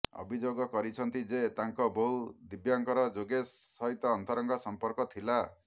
ଅଭିଯୋଗ କରିଛନ୍ତି ଯେ ତାଙ୍କ ବୋହୂ ଦିବ୍ୟାଙ୍କର ଯୋଗେଶ ସହିତ ଅନ୍ତରଙ୍ଗ ସମ୍ପର୍କ ଥିଲା